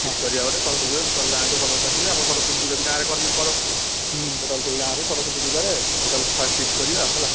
Feast କରିଆ ଗୋଟେ ସରସ୍ୱତୀ ପୂଜାରେ total ଗାଁ ଛୁଆ ସମସ୍ତେ ଆସିବେ ଆମ ସରସ୍ୱତୀ ପୂଜା ବି ଗାଁରେ କର ହୁଁ total ସେଇ ଗାଁ ରେ ସରସ୍ୱତୀ ପୂଜା ରେ first feast କରିବା ହେଲା